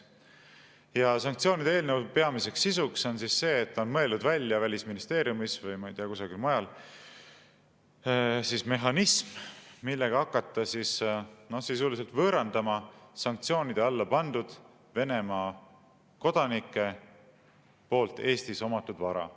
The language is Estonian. Ja sanktsioonide eelnõu peamine sisu on see, et Välisministeeriumis või ma ei tea, kusagil mujal on mõeldud välja mehhanism, mille abil hakata sisuliselt võõrandama sanktsioonide alla pandud Venemaa kodanike Eestis omatud vara.